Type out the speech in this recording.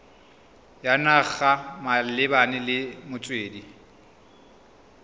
ya naga malebana le metswedi